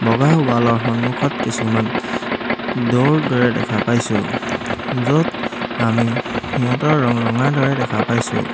বগা ৱাল ৰ সন্মুখত কিছুমান দ'ৰ দৰে দেখা পাইছোঁ য'ত আমি সিহঁতৰ ৰং ৰঙা দৰে দেখা পাইছোঁ।